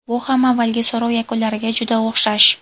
Bu ham avvalgi so‘rov yakunlariga juda o‘xshash.